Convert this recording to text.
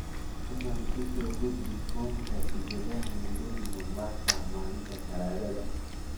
fadlan u soo gudbi foomka tikidhada nairobi mombasa maalinta talaadada